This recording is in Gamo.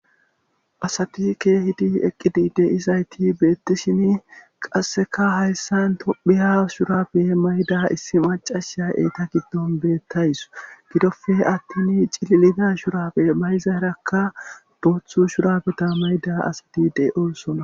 Asatikke hidi eqqidi de isayti beettishini qasseka hayssan tophiya shuraabe mayda issi macasha eeta giddon beettays gidofe attin cililida shurabe mayzaerakka doothu shurabeta mayda asati dey oosona.